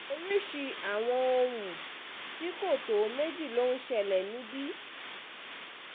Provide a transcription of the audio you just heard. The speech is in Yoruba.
oríṣìí àwọn ohun tí kò um tó méjì ló ń ṣẹlẹ̀ níbí um